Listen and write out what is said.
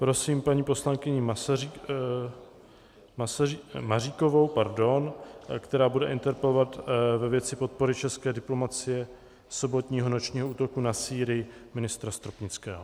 Prosím paní poslankyni Maříkovou, která bude interpelovat ve věci podpory české diplomacie sobotního nočního útoku na Sýrii ministra Stropnického.